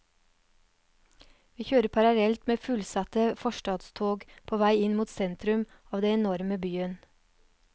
Vi kjører parallelt med fullsatte forstadstog på vei inn mot sentrum av den enorme byen.